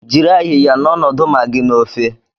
Jiri ayiya n'ọnọdụ magịị na ofe.